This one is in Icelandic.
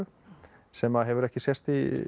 sem hefur ekki sést í